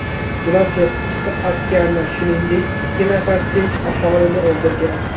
Ular to‘qqizta askarni, shuningdek, ikki nafar tinch aholini o‘ldirgan.